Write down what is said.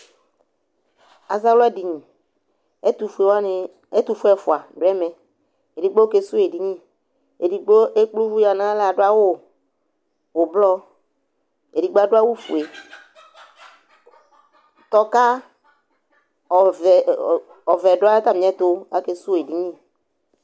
Azawladini Ɛtʋfue wanɩ ɛtʋfue ɛfʋa dʋ ɛmɛ Edigbo kesuwu edini, edigbo ekple uvi yǝ nʋ aɣla ɣa adʋ awʋ ʋblɔ, edigbo adʋ awʋfue Tɔka ɔvɛ ɔ ɔ ɔvɛ dʋ atamɩɛtʋ, akesuwu edini